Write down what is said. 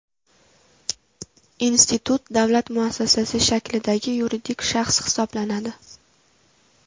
Institut davlat muassasasi shaklidagi yuridik shaxs hisoblanadi.